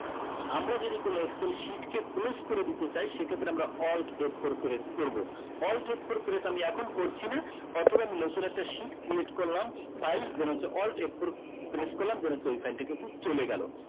আমরা যদি কোনো excel কে sheet কে close করে দিতে চাই সে ক্ষেত্রে আমরা alt f four press করবো alt f four press আমি এখন করছি না অথবা আমি নতুন একটা sheet create করলাম file then হচ্ছে alt f four press করলাম then হচ্ছে ওই file টা কিন্তু চলে গেলো